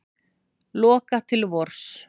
Loka til vors